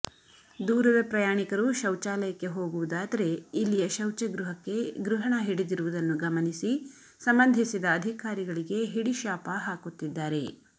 ದೂರದ ಪ್ರಯಾಣಿಕರು ಶೌಚಾಲಯಕ್ಕೆ ಹೊಗುವುದಾದರೆ ಇಲ್ಲಿಯ ಶೌಚ ಗ್ರಹಕ್ಕೆ ಗೃಹಣ ಹಿಡಿದಿರುವುದನ್ನು ಗಮನಿಸಿ ಸಂಬಂಧಿಸಿದ ಅದಿಕಾರಿಗಳಿಗೆ ಹಿಡಿಶಾಪ ಹಾಕುತ್ತಿದ್ದಾರೆ